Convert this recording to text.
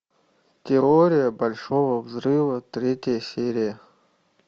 теория большого взрыва третья серия